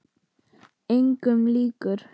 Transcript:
Engum líkur.